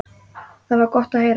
Það var gott að heyra.